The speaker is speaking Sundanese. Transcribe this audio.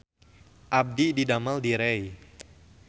Abdi didamel di Rei